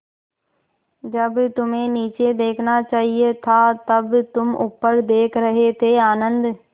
जब तुम्हें नीचे देखना चाहिए था तब तुम ऊपर देख रहे थे आनन्द